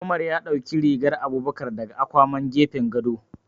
Umar ya ɗauki rigar Abubakar daga akwaman gefen gado.